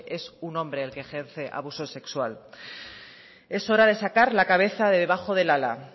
es un hombre el que ejerce abuso sexual es hora de sacar la cabeza de debajo del ala